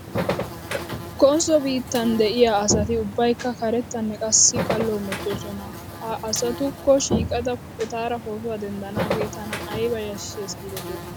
Konsso biittan de'iyaa asati ubbaykka karettanne qasii kallo hemetoosona. He asatatukko shiiqidi etaara pootuwaa denddanaagee tana ayba yashshes giidetii .